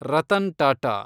Ratan Tata